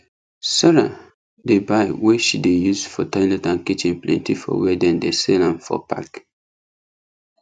sarah dey buy wey she dey use for toilet and kitchen plenty for wer dem dey sell m for pack